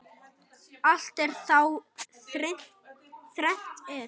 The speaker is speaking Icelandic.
Allt er þá þrennt er.